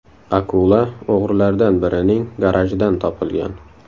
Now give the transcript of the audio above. Akula o‘g‘rilardan birining garajidan topilgan.